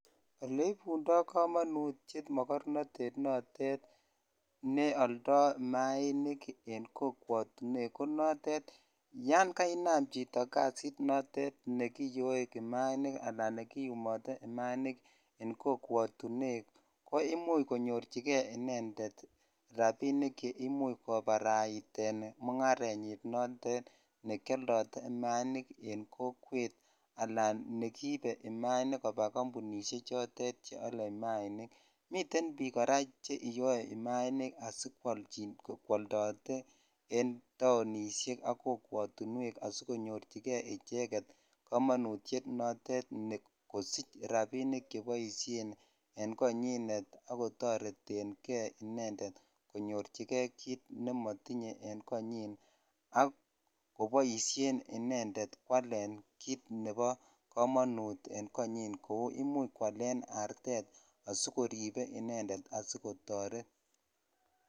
oli kobo komonutyeet mogonorteet noteet neoldoo mayainik en kokwotinweek , yaan kainaam chito kasiit noteet negiyoe mayainik anan negiyumote mayainik ek kokwotinweek koimuch konyochigee inendet rabinik che imuch kobaraiteen mungarenyiin noteet nekyoldoo tuguuk maanik en kokweet anan negiibe maainik koba kompunishek chotet cheole maainik, miten biik koraa cheiyoe maaniik asikwoldote enn taonishek ak kokwotinweek asigonyorchigee icheget komonutyeet noteet kosich rabishek cheboishen en konyiin ak kotoretengee konyorchinegee kiit nemotinye en konyiin ak koboishen kwaalen kiit nebo komonut en konyiny, imuch kwaleen arteet asigoribe inendet asigotoreet.